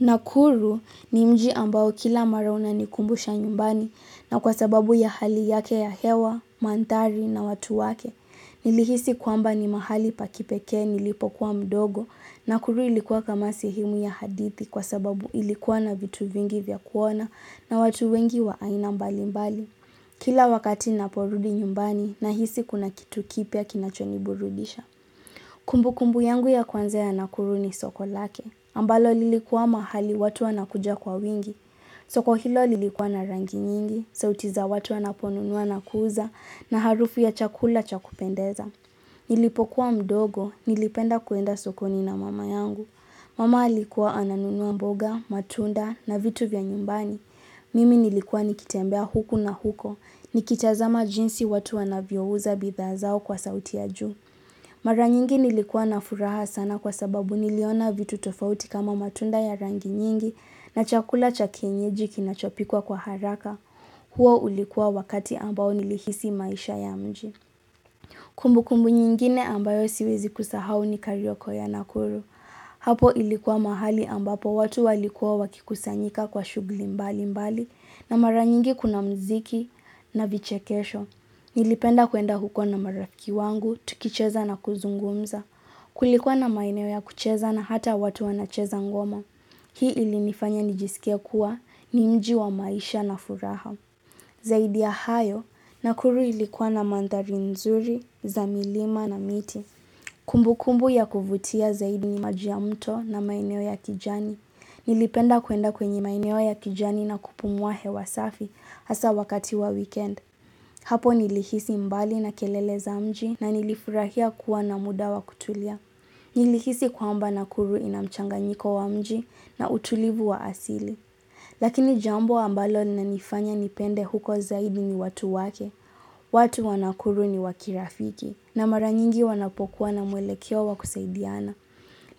Nakuru ni mji ambao kila mara unanikumbusha nyumbani na kwa sababu ya hali yake ya hewa, mandhari na watu wake. Nilihisi kwamba ni mahali pa kipekee nilipokuwa mdogo nakuru ilikuwa kama sehemu ya hadithi kwa sababu ilikuwa na vitu vingi vya kuona na watu wengi wa aina mbali mbali. Kila wakati naporudi nyumbani nahisi kuna kitu kipya kinachoniburudisha. Kumbu kumbu yangu ya kwanza nakuru ni soko lake. Ambalo lilikuwa mahali watu wanakuja kwa wingi. Soko hilo lilikuwa na rangi nyingi. Sauti za watu wanaponunua na kuuza na harufu ya chakula cha kupendeza. Nilipokuwa mdogo, nilipenda kuenda sokoni na mama yangu. Mama alikuwa ananunua mboga, matunda na vitu vya nyumbani. Mimi nilikuwa nikitembea huku na huko. Nikitazama jinsi watu wanavyo uza bidhaa zao kwa sauti ya juu. Mara nyingi nilikuwa na furaha sana kwa sababu niliona vitu tofauti kama matunda ya rangi nyingi na chakula cha kienyeji kinachopikwa kwa haraka huo ulikuwa wakati ambao nilihisi maisha ya mji. Kumbu kumbu nyingine ambayo siwezi kusahau ni karioko ya nakuru. Hapo ilikuwa mahali ambapo watu walikuwa wakikusanyika kwa shughuli mbali mbali na mara nyingi kuna mziki na vichekesho. Nilipenda kuenda huko na marafiki wangu, tukicheza na kuzungumza. Kulikuwa na maeneo ya kucheza na hata watu wanacheza ngoma. Hii ilinifanya nijisikie kuwa ni mji wa maisha na furaha. Zaidi ya hayo nakuru ilikuwa na mandhari nzuri, za milima na miti. Kumbu kumbu ya kuvutia zaidi ni maji ya mto na maeneo ya kijani. Nilipenda kuenda kwenye maeneo ya kijani na kupumua hewa safi hasa wakati wa weekend. Hapo nilihisi mbali na kelele za mji na nilifurahia kuwa na muda wa kutulia. Nilihisi kwamba nakuru ina mchanganyiko wa mji na utulivu wa asili. Lakini jambo ambalo linanifanya nipende huko zaidi ni watu wake. Watu wa nakuru ni wa kirafiki na mara nyingi wanapokuwa na mwelekeo wa kusaidiana.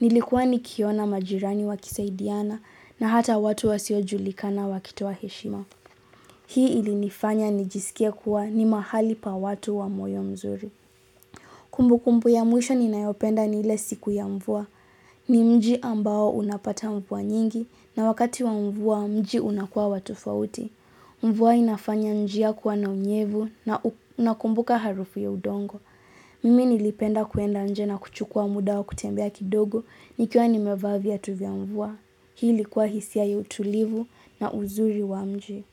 Nilikuwa nikiona majirani wakisaidiana na hata watu wasio julikana wakitoa heshima. Hii ilinifanya nijisikie kuwa ni mahali pa watu wa moyo mzuri. Kumbu kumbu ya mwisho ninayopenda ni ile siku ya mvua. Ni mji ambao unapata mvua nyingi na wakati wa mvua mji unakua wa tofauti. Mvua inafanya njia kuwa na unyevu na nakumbuka harufu ya udongo. Mimi nilipenda kuenda nje na kuchukua muda wa kutembea kidogo nikiwa nimevaa viatu vya mvua. Hii ilikuwa hisia ya utulivu na uzuri wa mji.